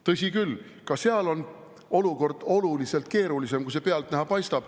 Tõsi küll, ka seal on olukord oluliselt keerulisem, kui pealtnäha paistab.